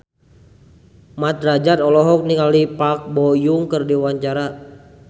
Mat Drajat olohok ningali Park Bo Yung keur diwawancara